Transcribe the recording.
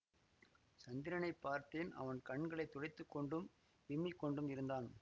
சந்திரனை பார்த்தேன் அவன் கண்களை துடைத்து கொண்டும் விம்மிக் கொண்டும் இருந்தான்